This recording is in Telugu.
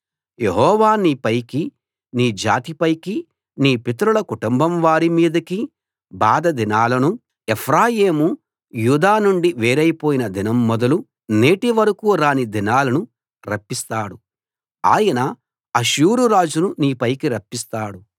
యెహోవా నీ పైకి నీ జాతి పైకి నీ పితరుల కుటుంబం వారి మీదికి బాధ దినాలను ఎఫ్రాయిము యూదా నుండి వేరైపోయిన దినం మొదలు నేటి వరకూ రాని దినాలను రప్పిస్తాడు ఆయన అష్షూరు రాజును నీపైకి రప్పిస్తాడు